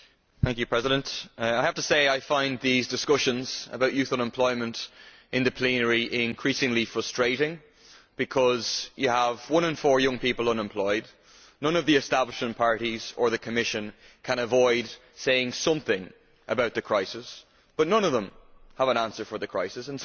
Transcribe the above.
Madam President, I have to say I find these discussions about youth unemployment in the plenary increasingly frustrating because you have one in four young people unemployed, none of the establishment parties or the Commission can avoid saying something about the crisis, but none of them has an answer for the crisis.